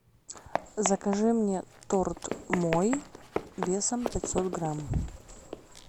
закажи мне торт мой весом пятьсот грамм